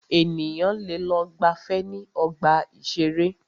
Ènìyàn lẹ lọ gbàfẹ́ ní ọgbà ìṣẹ̀rẹ́.